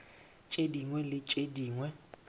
tše dingwe le tše dingwe